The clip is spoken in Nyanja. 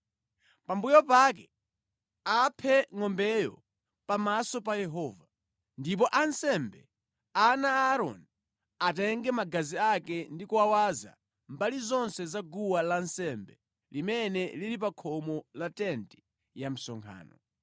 Pambuyo pake aphe ngʼombeyo pamaso pa Yehova, ndipo ansembe, ana a Aaroni, atenge magazi ake ndi kuwawaza mbali zonse za guwa lansembe limene lili pa khomo la tenti ya msonkhano.